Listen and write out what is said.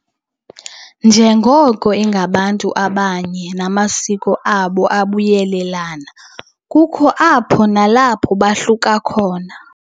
Njengoko ingabantu abanye namasiko abo ebuyelelana, kukho apho nalapho bohluka khona.